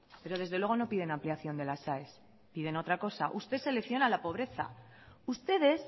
pero desde luego no piden ampliación de las aes piden otra cosa usted selecciona la pobreza ustedes